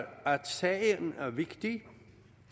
sagen er vigtig